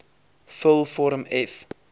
vul vorm f